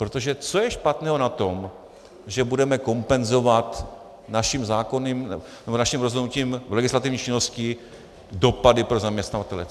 Protože co je špatného na tom, že budeme kompenzovat naším rozhodnutím, legislativní činností dopady pro zaměstnavatele?